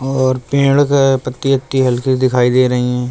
और पेड़ से पत्ती वत्ती हलकी दिखाई दे रही हैं।